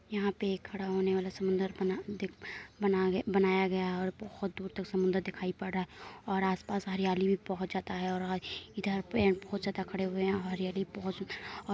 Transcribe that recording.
यहाँ पे खड़ा होने वाला समुंदर बना दिख बना बनाया गया है और बहुत दूर तक समंदर दिखाई पड़ रहा है और आस पास हरियाली भी बहुत जयादा है और इधर पे पेड़ बहुत ज्यादा खड़े हुए हैं और हरियाली बहुत --